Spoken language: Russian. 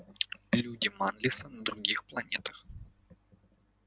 люди манлиса на других планетах